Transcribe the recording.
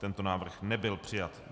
Tento návrh nebyl přijat.